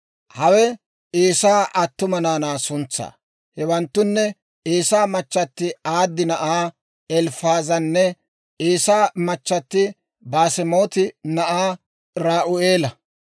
Hawe Eesaa attuma naanaa suntsaa; hewanttunne Eesaa machchatti Aadi na'aa Elifaazanne Eesaa machchatti Baasemaati na'aa Ra'u'eela.